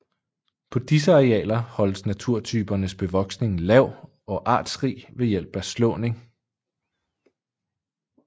På disse arealer holdes naturtypernes bevoksning lav og artsrig ved hjælp af slåning